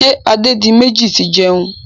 Ṣé Adédiméjì ti ń jẹun?